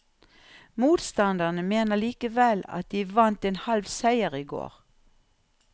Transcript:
Motstanderne mener likevel at de vant en halv seier i går.